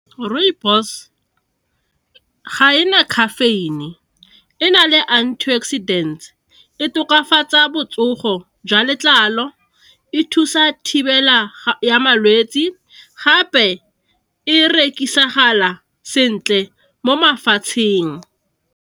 Rooibos ga ena caffeine, e na le antioxidant e tokafatsa botsogo jwa letlalo, e thusa thibela ya malwetsi, gape e rekisagala sentle mo mafatsheng.